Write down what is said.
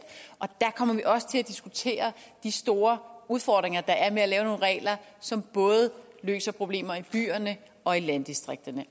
der kommer vi også til at diskutere de store udfordringer der er med at lave nogle regler som både løser problemer i byerne og i landdistrikterne